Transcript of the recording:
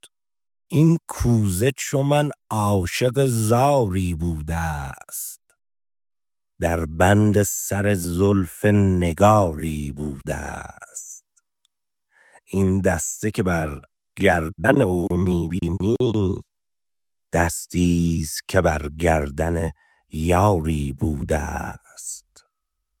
این کوزه چو من عاشق زاری بوده ست در بند سر زلف نگاری بوده ست این دسته که بر گردن او می بینی دستی ست که بر گردن یاری بوده ست